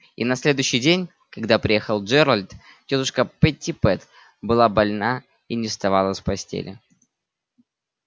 и на следующий день когда приехал джералд тётушка питтипэт была больна и не вставала с постели